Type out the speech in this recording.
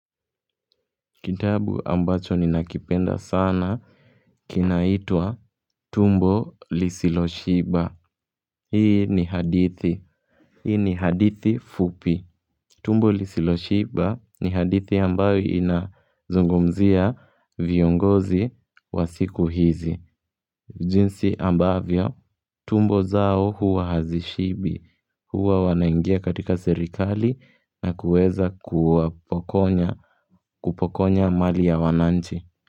Kitabu ambacho ninakipenda sana kinaitwa "tumbo lisilo Shiba." Hii ni hadithi. Hii ni hadithi fupi. "Tumbo lisilo Shiba," ni hadithi ambayo inazungumzia viongozi wa siku hizi. Jinsi ambavyo tumbo zao huwa hazishibi. Huwa wanaingia katika serikali na kuweza kuwapokonya kupokonya mali ya wananchi.